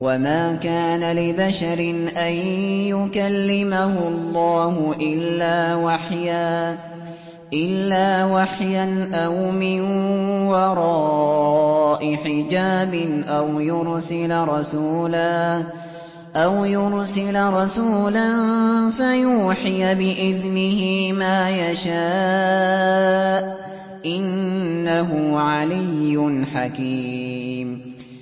۞ وَمَا كَانَ لِبَشَرٍ أَن يُكَلِّمَهُ اللَّهُ إِلَّا وَحْيًا أَوْ مِن وَرَاءِ حِجَابٍ أَوْ يُرْسِلَ رَسُولًا فَيُوحِيَ بِإِذْنِهِ مَا يَشَاءُ ۚ إِنَّهُ عَلِيٌّ حَكِيمٌ